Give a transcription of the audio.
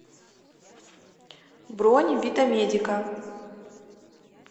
бронь витамедика